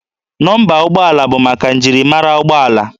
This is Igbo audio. Nọmba ụgbọala bụ maka njirimara ụgbọala